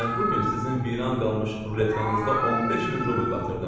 Mən bu gün sizin viran qalmış ruletkanızda 15 min rubl batırdım.